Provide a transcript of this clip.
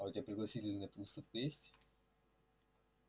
а у тебя пригласительные на выставку есть